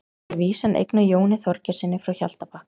Þar er vísan eignuð Jóni Þorgeirssyni frá Hjaltabakka.